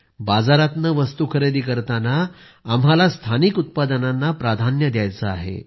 बाजारातनं वस्तु खरेदी करताना आम्हाला स्थानिक उत्पादनांना प्राधान्य द्यायचं आहे